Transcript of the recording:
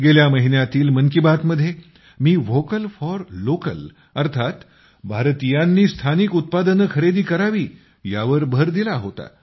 गेल्या महिन्यातील मन की बात मध्ये मी व्होकल फॉर लोकल अर्थात भारतीयांनी स्थानिक उत्पादने खरेदी करावी ह्यावर भर दिला होता